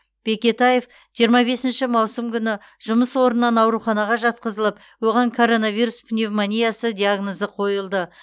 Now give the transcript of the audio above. бекетаев жиырма бесінші маусым күні жұмыс орнынан ауруханаға жатқызылып оған коронавирус пневмониясы диагнозы қойылды